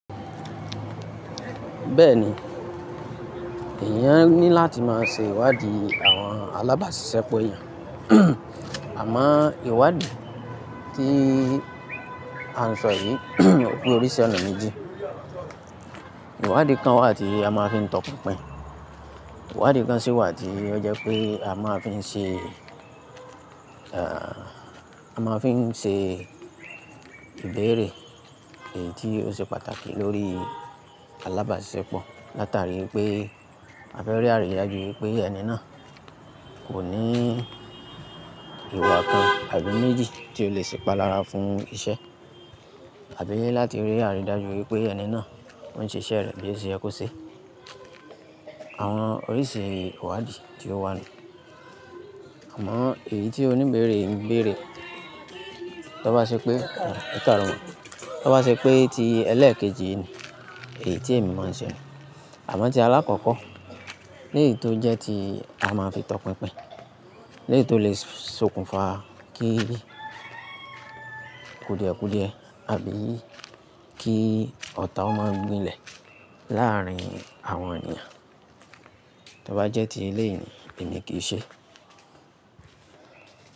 Bẹ́ẹ̀ni, èèyàn ní láti má a ṣe ìwádìí àwọn alábàásiṣepọ̀ eeyẹn. Àmọ́ ìwádìí tí à ń sọ yìí ò pé oríṣi ọ̀nà méjì. Ìwádìí kan wà tí a máa fi ń tọpinpin. Ìwádìí kan sì wà tí ó jẹ́ pé a máa fi ń ṣe, a máa fi ń ṣe ìbéèrè èyí tí ó ṣe pàtàkì lórí alábáàṣepọ̀. Látarí pé a fẹ́ rí àrídájú wípé ẹni náà kò ní ìwà kan àbí méjì tí ó lè sìpalára fún ìṣe. Àbí láti rí àrídájú wípé ẹni náà ń ṣe iṣẹ́ rẹ̀ bí iṣẹ́ ẹ kó ṣe. Àwọn oríṣi ìwádìí tí ó wà nìyẹn. Àmọ́ èyí tí oní ìbéèrè ń béèrè, tó bá ṣe pé, òkèárọ̀mọ́, tó bá ṣe pé ti ẹlẹ́ẹ̀kejì ni, èyí tí èmi mọ̀ ń ṣe Àmọ́ ti alákọ̀ọ́kọ́, léyìí tó jẹ́ ti a máa fi tọpinpin. Léyìí tó lè sokùnfà kí kùdìẹ̀kùdìẹ, àbí kí ọ̀tá ó máa gbilẹ̀ láàárín àwọn ènìyàn. Tó bá jẹ́ ti ilé èyí ni, èmi kì í ṣe.